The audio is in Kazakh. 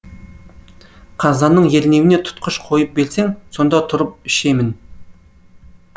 қазанның ернеуіне тұтқыш қойып берсең сонда тұрып ішемін